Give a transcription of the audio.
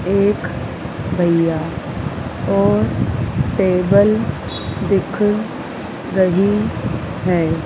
एक भैया और टेबल दिख रही है।